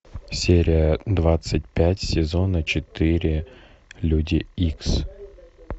серия двадцать пять сезона четыре люди икс